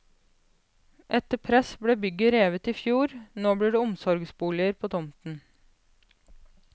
Etter press ble bygget revet i fjor, nå blir det omsorgsboliger på tomten.